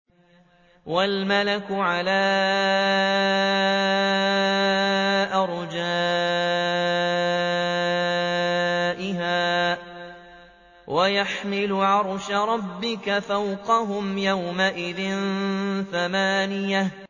وَالْمَلَكُ عَلَىٰ أَرْجَائِهَا ۚ وَيَحْمِلُ عَرْشَ رَبِّكَ فَوْقَهُمْ يَوْمَئِذٍ ثَمَانِيَةٌ